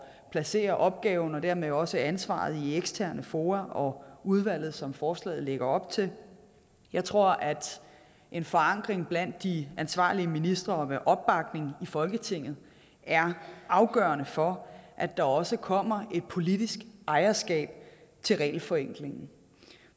placere opgaven og dermed også ansvaret i eksterne fora og udvalget som forslaget lægger op til jeg tror at en forankring blandt de ansvarlige ministre og med opbakning i folketinget er afgørende for at der også kommer et politisk ejerskab til regelforenklingen